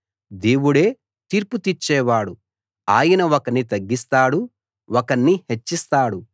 దేవుడే తీర్పు తీర్చేవాడు ఆయన ఒకణ్ణి తగ్గిస్తాడు ఒకణ్ణి హెచ్చిస్తాడు